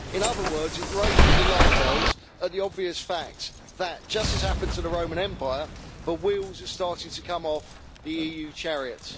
In other words, it raises alarm bells at the obvious fact that, just as happened to the Roman Empire, the wheels are starting to come off the EU chariot.